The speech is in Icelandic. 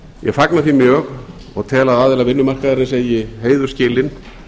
ég fagna því mjög og tel að aðilar vinnumarkaðarins eigi heiður skilinn